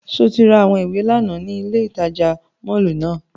Ṣe o ra awọn iwe làná ni ile itaja mọllu náa?